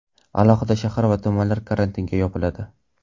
Alohida shahar va tumanlar karantinga yopiladi.